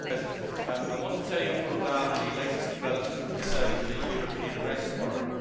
Mr President, I want to tell you all about the latest development concerning the European Arrest Warrant.